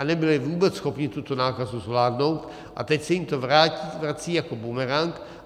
A nebyli vůbec schopni tuto nákazu zvládnout a teď se jim to vrací jako bumerang.